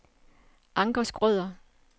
Anker Schrøder